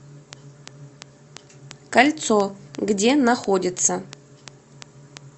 кольцо где находится